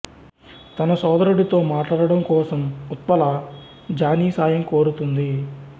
తన సోదరుడితో మాట్లాడటం కోసం ఉత్పల జానీ సాయం కోరుతుంది